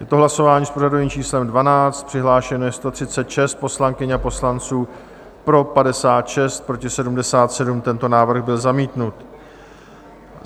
Je to hlasování s pořadovým číslem 12, přihlášeno je 136 poslankyň a poslanců, pro 56, proti 77, tento návrh byl zamítnut.